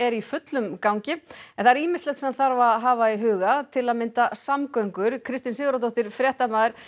í fullum gangi en það er ýmislegt sem þarf að hafa í huga til að mynda samgöngur Kristín Sigurðardóttir fréttamaður